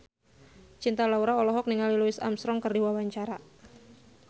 Cinta Laura olohok ningali Louis Armstrong keur diwawancara